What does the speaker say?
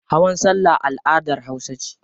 Hawan salla al'adar hausa ce.